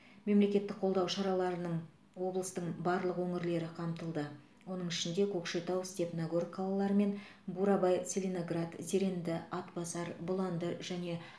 мемлекеттік қолдау шараларының облыстың барлық өңірлері қамтылды оның ішінде көкшетау степногор қалалары мен бурабай целиноград зеренді атбасар бұланды және